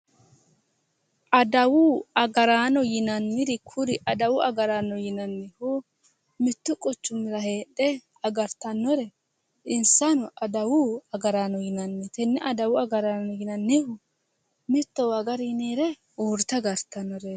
Adawu agaraano yinanniri kuri adawu agaraano yinannihu mittu quchumira heedhe agartannore insano adawu agaraano yinanni tenne adawu agaraano yinannihu mittowa agari yinire oorte agartannoreeti